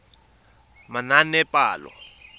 manaanepalo